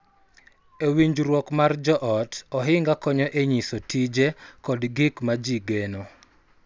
E winjruok mar joot, ohinga konyo e nyiso tije kod gik ma ji geno.